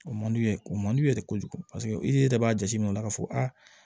O man d'u ye o man d'u ye dɛ kojugu paseke i yɛrɛ b'a jateminɛ o la ka fɔ aa